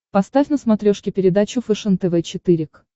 поставь на смотрешке передачу фэшен тв четыре к